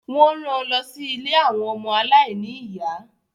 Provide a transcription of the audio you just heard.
Wọ́n ran lọ sí ilé àwọn ọmọ aláìní ìyá.